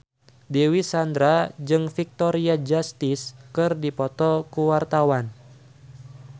Dewi Sandra jeung Victoria Justice keur dipoto ku wartawan